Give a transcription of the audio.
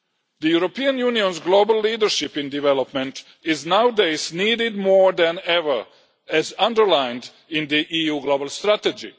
The European Union's global leadership in development is nowadays needed more than ever, as underlined in the EU global strategy.